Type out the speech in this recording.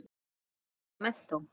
Eins og menntó.